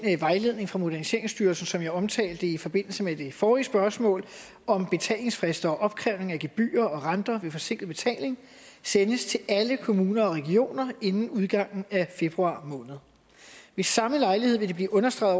vejledning fra moderniseringsstyrelsen som jeg omtalte i forbindelse med det forrige spørgsmål om betalingsfrister og opkrævning af gebyrer og renter ved forsinket betaling sendes til alle kommuner og regioner inden udgangen af februar måned ved samme lejlighed vil det blive understreget